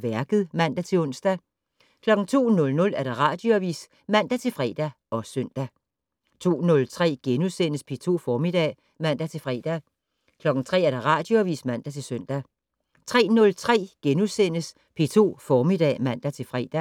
Værket *(man-ons) 02:00: Radioavis (man-fre og søn) 02:03: P2 Formiddag *(man-fre) 03:00: Radioavis (man-søn) 03:03: P2 Formiddag *(man-fre)